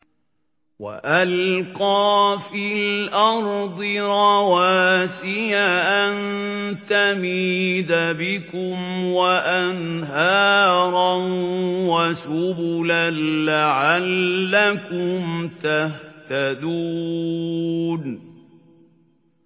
وَأَلْقَىٰ فِي الْأَرْضِ رَوَاسِيَ أَن تَمِيدَ بِكُمْ وَأَنْهَارًا وَسُبُلًا لَّعَلَّكُمْ تَهْتَدُونَ